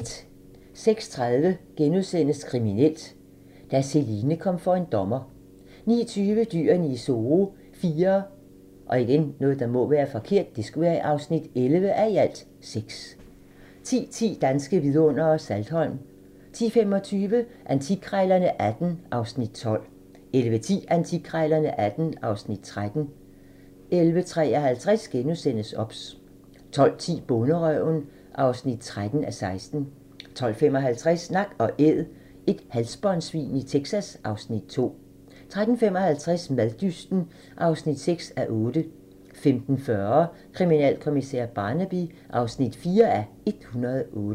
06:30: Kriminelt: Da Celine kom for en dommer * 09:20: Dyrene i Zoo IV (11:6) 10:10: Danske vidundere: Saltholm 10:25: Antikkrejlerne XVIII (Afs. 12) 11:10: Antikkrejlerne XVIII (Afs. 13) 11:53: OBS * 12:10: Bonderøven (13:16) 12:55: Nak & Æd - et halsbåndssvin i Texas (Afs. 2) 13:55: Maddysten (6:8) 15:40: Kriminalkommissær Barnaby (4:108)